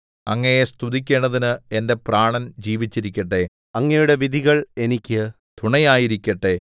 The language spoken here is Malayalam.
അങ്ങയെ സ്തുതിക്കേണ്ടതിന് എന്റെ പ്രാണൻ ജീവിച്ചിരിക്കട്ടെ അങ്ങയുടെ വിധികൾ എനിക്ക് തുണയായിരിക്കട്ടെ